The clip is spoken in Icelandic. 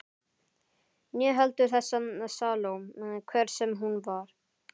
Né heldur þessa Salóme, hver sem hún var.